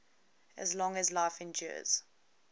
as long as life endures